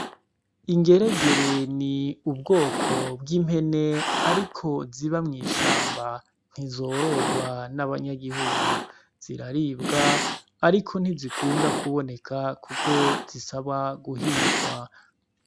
Ducupa dutatu turimwo imiti iyu tuducupa turarumije neza tuducupa turimwo imiti, kandi bigaragara yuko ari ahantu bayidandariza imbere y'i miti hari agashashi agashashi na kokarimwo imiti.